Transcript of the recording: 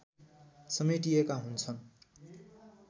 समेटिएका हुन्छन्